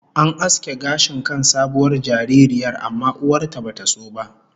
An aske gashin kan sabuwar jaririyar, amma uwar ta bata so ba